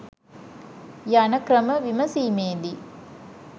යන ක්‍රම විමසීමේදී